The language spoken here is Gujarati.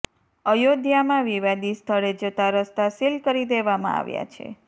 અયોધ્યામાં વિવાદી સ્થળે જતાં રસ્તા સીલ કરી દેવામાં આવ્યા છે